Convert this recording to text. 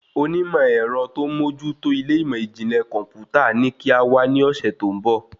Onímọ̀ èrọ tó n mójú tó ilé ìmọ ijinlẹ kọmputa ní kí á wá ní ọsẹ tó ń bọ̀